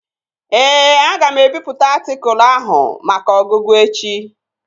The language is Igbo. Ee, aga m ebipụta atịkụlu ahụ maka ọgụgụ echi